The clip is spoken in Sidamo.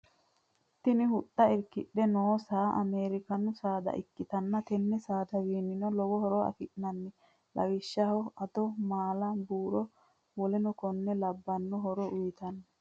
Tini huxxa irikidhe noo saa ameerikaanu saada ikkitanna tenne saadawinnino lowo horo afi'nanni lawishshaho ado, maala, buuro wolleno konne labbanno horo uyitanno.